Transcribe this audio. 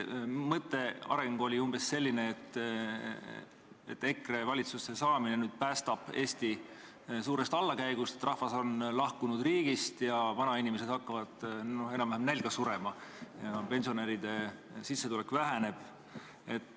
Mõttearendus oli umbes selline, et EKRE valitsusse saamine päästab Eesti suurest allakäigust, et rahvas on lahkunud riigist, et vanainimesed hakkavad enam-vähem nälga surema ja pensionäride sissetulek väheneb.